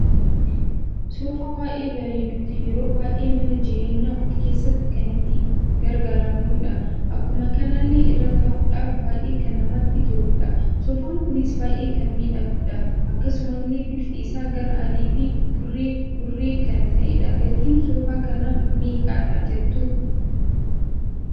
Soofaa baay'ee bareeduuf yeroo baay'ee mana jireenya ofii keessatti kan itti gargaaramnudha. Akkuma kanallee irra taa'uudhaf baay'ee kan namatti toludha. Soofaan kunis baay'ee kan miidhagudha. Akkasumalle bifti isa gara adii fi burraa burree kan ta'edha. Gatiin soofaa kana meeqadha jettu?